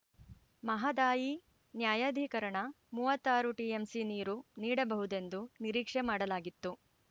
ಮಹದಾಯಿ ನ್ಯಾಯಾಧಿಕರಣ ಮೂವತ್ತ್ ಆರು ಟಿಎಂಸಿ ನೀರು ನೀಡಬಹುದೆಂದು ನಿರೀಕ್ಷೆ ಮಾಡಲಾಗಿತ್ತು